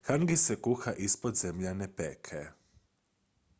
hangi se kuha ispod zemljane peke